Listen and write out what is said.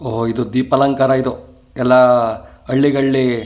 ಓ ಇದು ದೀಪಾಲಂಕಾರ ಇದು ಎಲ್ಲಾ ಹಳ್ಳಿಗಳ್ಳಿ.